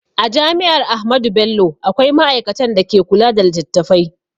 A jami'ar Ahmadu Bello akwai ma'aikatan da ke kula da littattafai